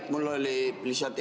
Jaa, mul oli lihtsalt ...